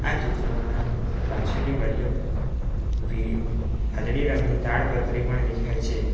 આ ચિત્રમાં પાછળની બાજુ પી વાદળી રંગની તાડપત્રી પણ દેખાય છે.